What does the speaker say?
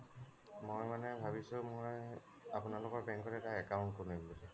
মই মানে ভাবিছো মই আপোনালোকৰ bank ত এটা account খুলিম